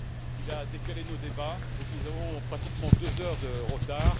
Il a décalé nos débats, par conséquent, nous avons pratiquement deux heures de retard.